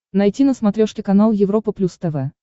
найти на смотрешке канал европа плюс тв